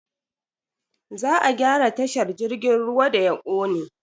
Za a gyara tashar jirgin ruwa da ya kone.